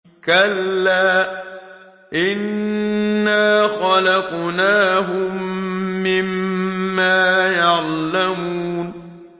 كَلَّا ۖ إِنَّا خَلَقْنَاهُم مِّمَّا يَعْلَمُونَ